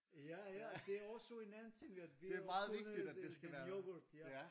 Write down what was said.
Ja ja det er også en anden ting at vi har opfundet en yoghurt ja